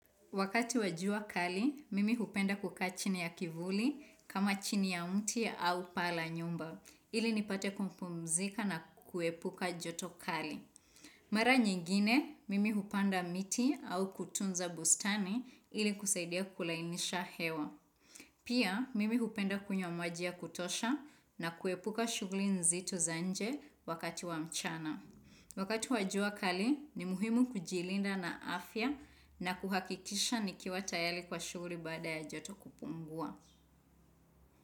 Wakati wa jua kali, mimi hupenda kukaa chini ya kivuli kama chini ya mti au paa la nyumba, ili nipate kupumzika na kuepuka joto kali. Mara nyingine, mimi hupanda miti au kutunza bustani ili kusaidia kulainisha hewa. Pia, mimi hupenda kunywa maji ya kutosha na kuepuka shughuli nzito za nje wakati wa mchana. Wakati wa jua kali ni muhimu kujilinda na afya na kuhakikisha nikiwa tayari kwa shughuli baada ya joto kupungua.